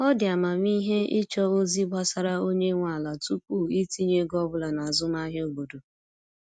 Ọ dị amamihe ịchọ ozi gbasara onye nwe ala tupu itinye ego ọbụla n'azụmahịa obodo.